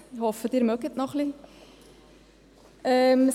Ich hoffe, Sie haben noch ein wenig Energie.